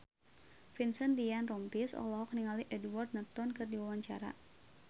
Vincent Ryan Rompies olohok ningali Edward Norton keur diwawancara